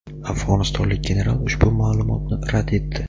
afg‘onistonlik general ushbu ma’lumotni rad etdi.